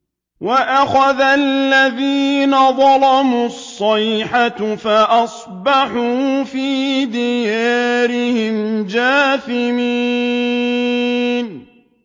وَأَخَذَ الَّذِينَ ظَلَمُوا الصَّيْحَةُ فَأَصْبَحُوا فِي دِيَارِهِمْ جَاثِمِينَ